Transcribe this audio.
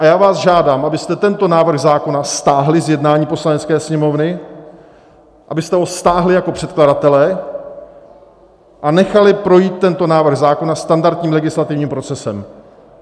A já vás žádám, abyste tento návrh zákona stáhli z jednání Poslanecké sněmovny, abyste ho stáhli jako předkladatelé a nechali projít tento návrh zákona standardním legislativním procesem.